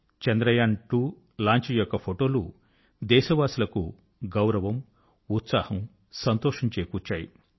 Chandrayaan two launch యొక్క ఫొటోలు దేశవాసులకు గౌరవం ఉత్సాహం సంతోషం చేకూర్చాయి